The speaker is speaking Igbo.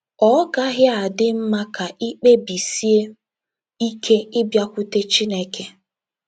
Ọ́ gaghị adị mma ka ị kpebisie ike ịbịakwute Chineke?